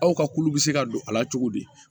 Aw ka kulu bɛ se ka don a la cogo di